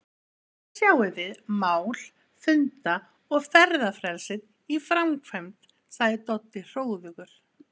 Þarna sjáið þið mál- funda- og ferðafrelsið í framkvæmd sagði Doddi hróðugur.